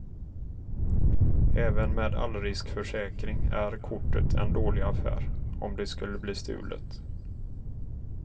Även med allriskförsäkring är kortet en dålig affär om det skulle bli stulet.